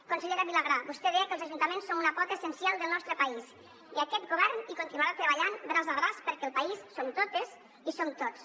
consellera vilagrà vostè deia que els ajuntaments són una pota essencial del nostre país i que aquest govern hi continuarà treballant braç a braç perquè el país som totes i som tots